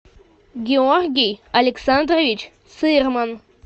георгий александрович цирман